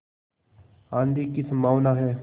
आँधी की संभावना है